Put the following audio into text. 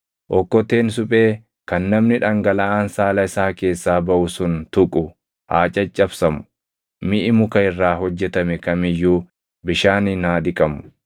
“ ‘Okkoteen suphee kan namni dhangalaʼaan saala isaa keessaa baʼu sun tuqu haa caccabsamu; miʼi muka irraa hojjetame kam iyyuu bishaaniin haa dhiqamu.